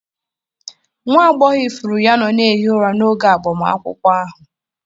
Nwa agbọghọ ifuru ya nọ na-ehi ụra n'oge agbamakwụkwọ ahụ.